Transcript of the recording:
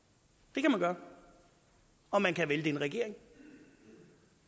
det kan man gøre og man kan vælte en regering